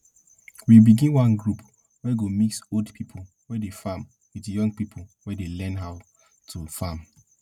we begin one group wey go mix old people wey dey farm with young people wey dey learn how learn how to farm